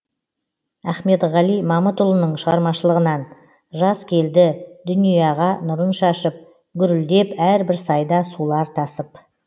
ахмедғали мамытұлының шығармашылығынан жаз келді дүнияға нұрын шашып гүрілдеп әрбір сайда сулар тасып